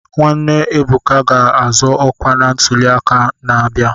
Nwanne Ebuka ga-azọ ọkwa na ntuli aka na-abịa.